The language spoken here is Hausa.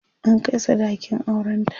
an Kai sadakin auran ta